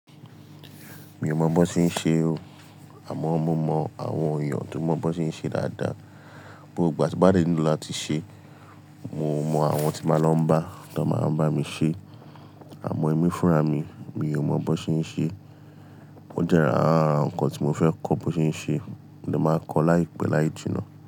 Mi ò mọ̀ bó tí ń ṣe o, àmọ́ mo mọ àwọn èèyàn tó mọ̀ bó tí ń ṣe dáadáa. Gbogbo ìgbà tí mo bá dẹ̀ nílò láti ṣe mo mọ àwọn tí máa lọ ń bá tá má bá mi ṣe. Àmọ́ èmi fúnra mi mi ò bán ṣe ń ṣe. Ó jẹ́ ará nǹkan tí mo fẹ́ kọ́ bó se ń ṣe, mo dẹ̀ máa kọ́ láìpẹ́ láì jinnà.